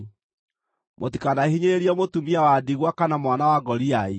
“Mũtikanahinyĩrĩrie mũtumia wa ndigwa kana mwana wa ngoriai.